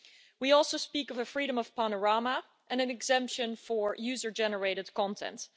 We also speak of a freedom of panorama and an exemption for user generated content.